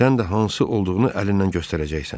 Sən də hansı olduğunu əlindən göstərəcəksən.